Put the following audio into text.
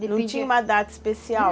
Não tinha uma data especial?